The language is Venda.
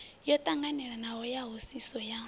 yo tanganelanaho ya hoisiso ya